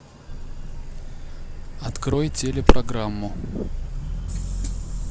открой телепрограмму